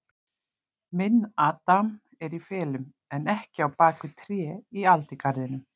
Minn adam er í felum, en ekki á bak við trén í aldingarðinum.